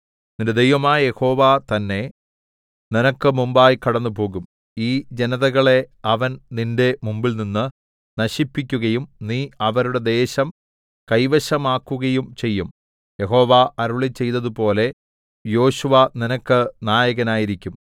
നിന്റെ ദൈവമായ യഹോവ തന്നെ നിനക്ക് മുമ്പായി കടന്നുപോകും ഈ ജനതകളെ അവൻ നിന്റെ മുമ്പിൽനിന്നു നശിപ്പിക്കുകയും നീ അവരുടെ ദേശം കൈവശമാക്കുകയും ചെയ്യും യഹോവ അരുളിച്ചെയ്തതുപോലെ യോശുവ നിനക്ക് നായകനായിരിക്കും